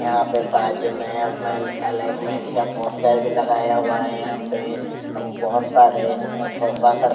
यहाँ पर बाजु में अपन अलेमेंट का पोस्टर भी लगया हुआ है यहाँ पर और बहोत सारे प्रोफेसर --